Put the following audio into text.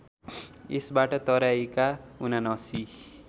यसबाट तराईका ७९